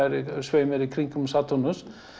sveimar í kringum Satúrnus